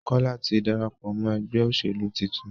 Kola tí darapọ̀ mọ ègbé òṣèlú títún